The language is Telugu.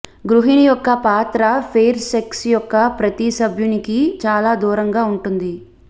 గృహిణి యొక్క పాత్ర ఫెయిర్ సెక్స్ యొక్క ప్రతి సభ్యునికి చాలా దూరంగా ఉంటుంది